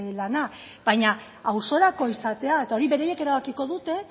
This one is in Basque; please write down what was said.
lana baina auzorako izatea eta hori beraiek erabakiko dute